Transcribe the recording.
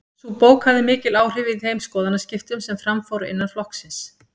Sú bók hafði mikil áhrif í þeim skoðanaskiptum sem fram fóru innan flokksins.